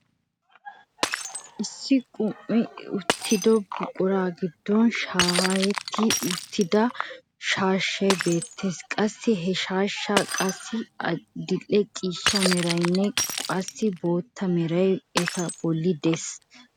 Issi qum"ettida buquraa giddon shayetti uttida shaashshay beettees. qassi he shaashshay qassi adil'e ciishsha meraynne qassi bootta meray eta bolli de'ees.